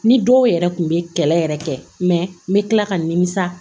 Ni dɔw yɛrɛ kun bɛ kɛlɛ yɛrɛ kɛ mɛ n bɛ tila ka n nimisa